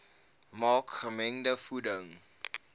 maak gemengde voeding